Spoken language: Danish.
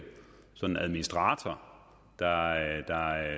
sådan en administrator der